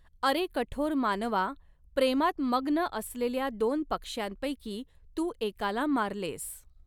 अरे कठोर मानवा, प्रेमात मग्न असलेल्या दोन पक्ष्यांपैकी तू एकाला मारलेस.